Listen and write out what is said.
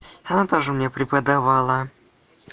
она тоже мне преподавала